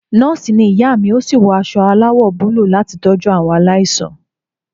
Nọ́ọ̀sì ni ìyá mi ó sì wọ aṣọ aláwọ̀ búlúù láti tọ́jú àwọn aláìsàn.